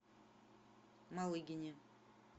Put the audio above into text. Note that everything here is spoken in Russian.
малыгине